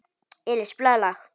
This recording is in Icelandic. Elís, spilaðu lag.